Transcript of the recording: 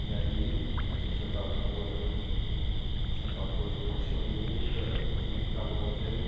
E aí a gente já estava namorando, isso é aquela coisa, paixão louca, não conseguia ficar longe, aí eu